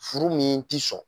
Furu min ti sɔn.